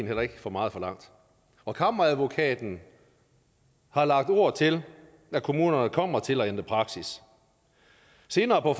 heller ikke for meget forlangt og kammeradvokaten har lagt ord til at kommunerne kommer til at ændre praksis senere på